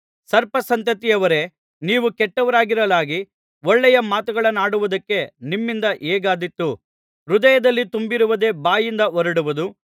ಸರ್ಪ ಸಂತತಿಯವರೇ ನೀವು ಕೆಟ್ಟವರಾಗಿರಲಾಗಿ ಒಳ್ಳೆಯ ಮಾತುಗಳನ್ನಾಡುವುದಕ್ಕೆ ನಿಮ್ಮಿಂದ ಹೇಗಾದೀತು ಹೃದಯದಲ್ಲಿ ತುಂಬಿರುವುದೇ ಬಾಯಿಂದ ಹೊರಡುವುದು